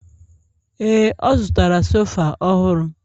Ee, ọ zụtara sofa ọhụrụ